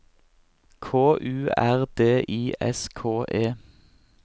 K U R D I S K E